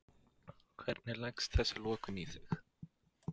Hvernig leggst þessi lokun í þig?